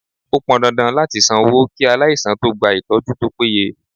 Ó pọn dandan láti san owó kí aláìsàn tó gba ìtọ́jú tó péye.